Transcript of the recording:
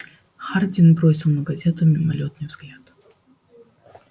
хардин бросил на газету мимолётный взгляд